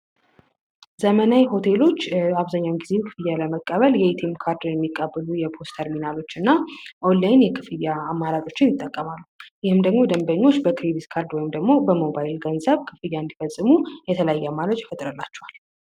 ዘመናዊ ሆቴሎች አብዛኛውን ጊዜ ክፍያ ለመቀበል የኤቲኤም ካርድ የሚቀብሉ የፖስት ተርሚናሎች እና ኦላይን የክፍያ አማራጮችን ይጠቀማሉ ይህም ደግሞ ደንበኞች በክሬዲት ካርድ ወይም ደግሞ በሞባይል ገንዘብ ክፍያ እንዲፈጽሙ የተለየ አማራጭ ይፈጥርላቸዋል።